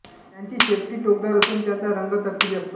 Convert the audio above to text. त्याची शेपटी टोकदार असून त्याचा रंग तपकिरी असतो